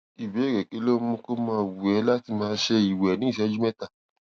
ìbéèrè kí ló ń mú kó máa wù é láti máa ṣe ìwè ní ìṣéjú méta